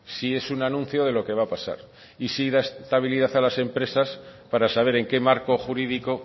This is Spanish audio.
sí es un anuncio de lo que va a pasar y sí da estabilidad a las empresas para saber en qué marco jurídico